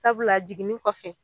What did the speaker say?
Sabula jiginni kɔfɛ